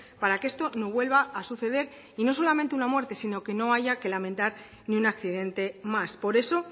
para que esto no vuelva a suceder y no solamente una muerte sino que no haya que lamentar ni un accidente más por eso